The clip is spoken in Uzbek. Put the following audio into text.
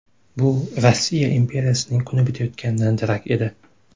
Bu Rossiya imperiyasining kuni bitayotganidan darak edi.